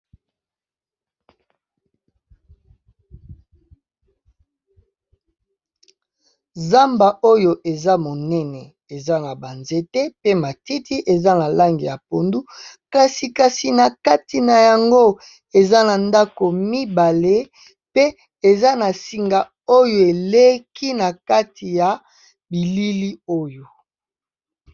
Zamba oyo eza monene eza na banzete pe matiti eza na lange ya pondu kasi na kati na yango eza na ndako mibale pe eza na singa oyo eleki na kati ya bilili oyo.